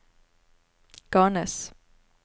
Garnes